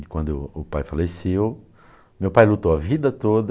E quando o pai faleceu, meu pai lutou a vida toda.